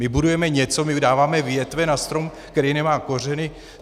My budujeme něco, my dáváme větve na strom, který nemá kořeny.